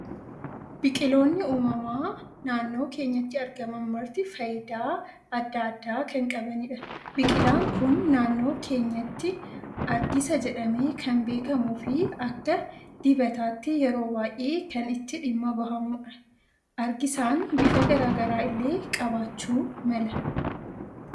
Biqiloonni uumamaa naannoo keenyatti argaman marti fayyidaa addaa addaa kan qabanidha. Biqilaan Kun naannoo keenyatti argisa jedhamee kan beekamuu fi akka dibataatti yeroo baayyee kan itti dhimma bahamudha. Argisan bifa garaagaraa illee qabaachuu mala.